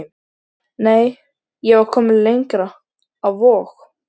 Nei, ég var komin lengra, á Vog.